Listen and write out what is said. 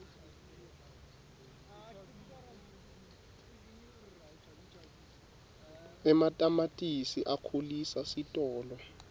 ematamatisi akhulisa sitolo